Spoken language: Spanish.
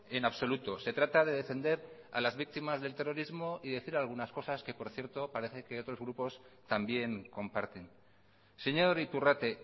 en absoluto se trata de defender a las víctimas del terrorismo y decir algunas cosas que por cierto parece que otros grupos también comparten señor iturrate